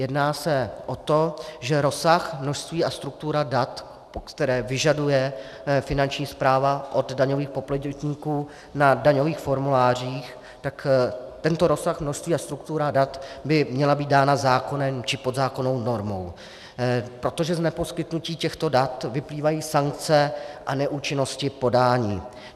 Jedná se o to, že rozsah, množství a struktura dat, které vyžaduje Finanční správa od daňových poplatníků na daňových formulářích, tak tento rozsah, množství a struktura dat by měly být dány zákonem či podzákonnou normou, protože z neposkytnutí těchto dat vyplývají sankce a neúčinnosti podání.